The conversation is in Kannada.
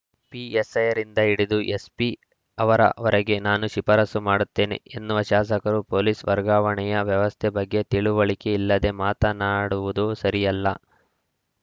ಪಿಎಸ್‌ಐರಿಂದ ಹಿಡಿದು ಎಸ್ಪಿ ಅವರ ವರೆಗೆ ನಾನು ಶಿಫಾರಸು ಮಾಡುತ್ತೇನೆ ಎನ್ನುವ ಶಾಸಕರು ಪೋಲೀಸ್‌ ವರ್ಗಾವಣೆಯ ವ್ಯವಸ್ಥೆ ಬಗ್ಗೆ ತಿಳುವಳಿಕೆ ಇಲ್ಲದೆ ಮಾತನಾಡುವುದು ಸರಿಯಲ್ಲ